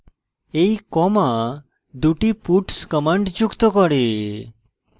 এই comma দুটি puts commands যুক্ত করে